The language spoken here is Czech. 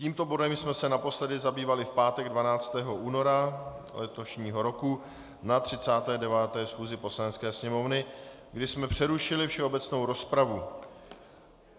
Tímto bodem jsme se naposledy zabývali v pátek 12. února letošního roku na 39. schůzi Poslanecké sněmovny, kdy jsme přerušili všeobecnou rozpravu.